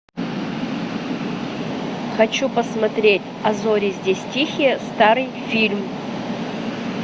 хочу посмотреть а зори здесь тихие старый фильм